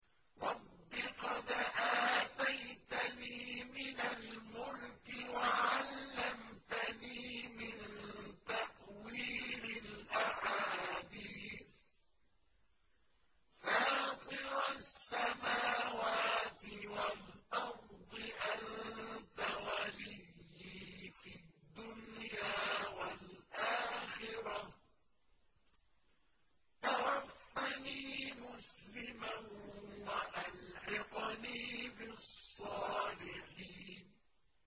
۞ رَبِّ قَدْ آتَيْتَنِي مِنَ الْمُلْكِ وَعَلَّمْتَنِي مِن تَأْوِيلِ الْأَحَادِيثِ ۚ فَاطِرَ السَّمَاوَاتِ وَالْأَرْضِ أَنتَ وَلِيِّي فِي الدُّنْيَا وَالْآخِرَةِ ۖ تَوَفَّنِي مُسْلِمًا وَأَلْحِقْنِي بِالصَّالِحِينَ